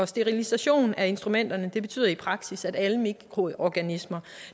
sterilisationen af instrumenterne betyder i praksis at alle mikroorganismer